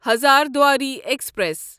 Hazarduari express